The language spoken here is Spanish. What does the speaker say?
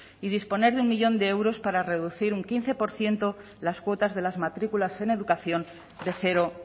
y disponer de un millón de euros para reducir un quince por ciento las cuotas de las matrículas en educación de cero